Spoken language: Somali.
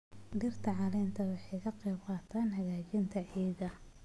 Dhirta caleenta waxay ka qayb qaataan hagaajinta ciidda.